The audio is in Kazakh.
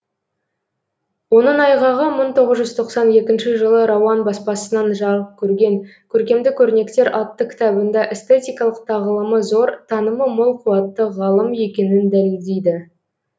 оның айғағы мың тоғыз жүз тоқсан екінші жылы рауан баспасынан жарық көрген көркемдік өрнектер атты кітабында эстетикалық тағылымы зор танымы мол қуатты ғалым екенін дәлелдейді